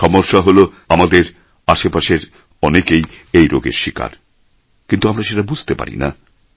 সমস্যা হল আমাদের আশেপাশের অনেকেই এই রোগের শিকার কিন্তু আমরা সেটা বুঝতে পারি না